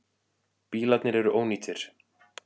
Bílarnir eru ónýtir.